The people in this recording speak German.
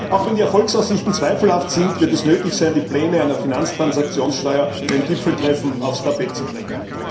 Auch wenn die Erfolgsaussichten zweifelhaft sind, wird es nötig sein, die Pläne einer Finanztransaktionssteuer beim Gipfeltreffen aufs Tapet zu bringen.